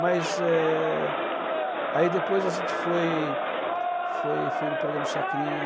Mas eh... aí depois a gente foi foi foi no programa do chacrinha.